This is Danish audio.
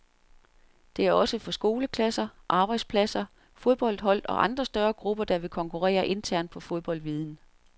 Det er også for skoleklasser, arbejdspladser, fodboldhold og andre større grupper, der vil konkurrere internt på fodboldviden.